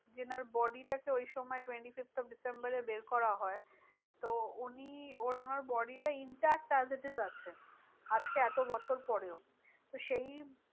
যেনার body টাকে ওই সময় twenty fifth of ডিসেম্বরে বের করা হয়। তো উনি ওনার body টা intact as it is আছে। আজকে এত বছর পরেও তো সেই